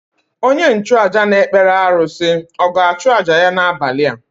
Onye nchụàjà na-ekpere arụsị ọ̀ ga-achụ àjà ya n’abalị a?